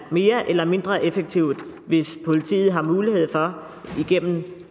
mere eller mindre effektivt hvis politiet har mulighed for på